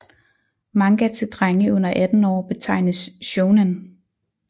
Manga til drenge under 18 år betegnes shounen